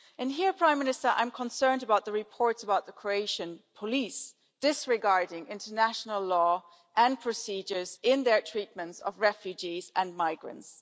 Here, Prime Minister, I'm concerned about the reports about the Croatian police disregarding international law and procedures in their treatment of refugees and migrants.